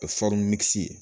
O ye ye.